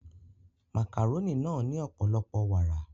Màkàrónì náà ní ọ̀pọ̀lọpọ̀ wàrà